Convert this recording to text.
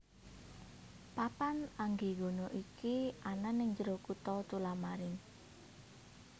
Papan Anggegana iki anan ing jero kota Tullamarine